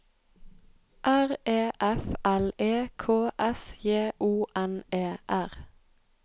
R E F L E K S J O N E R